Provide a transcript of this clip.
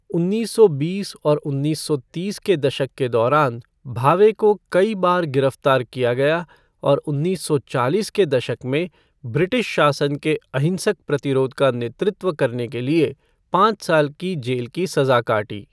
उन्नीस सौ बीस और उन्नीस सौ तीस के दशक के दौरान भावे को कई बार गिरफ्तार किया गया और उन्नीस सौ चालीस के दशक में ब्रिटिश शासन के अहिंसक प्रतिरोध का नेतृत्व करने के लिए पाँच साल की जेल की सजा काटी।